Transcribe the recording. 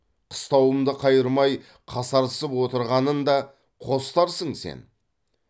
қыстауымды қайырмай қасарысып отырғанын да қостарсың сен